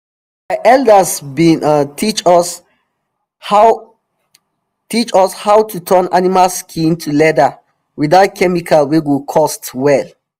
our elders been um teach us how us how to turn animal skin to leather without chemical wey go cost well